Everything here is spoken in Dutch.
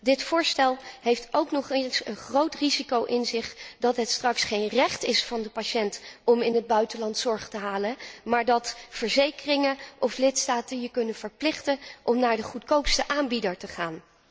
Dit voorstel bergt ook nog eens een groot risico in zich dat het straks geen recht is van de patiënt om in het buitenland zorg te halen, maar dat verzekeringen of lidstaten de patiënt ertoe kunnen verplichten om naar de goedkoopste aanbieder te gaan.